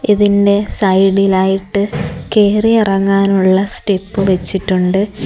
ഇതിന്റെ സൈഡ് ഇൽ ആയിട്ട് കേറി ഇറങ്ങാൻ ഉള്ള സ്റ്റെപ് വെച്ചിട്ടുണ്ട്.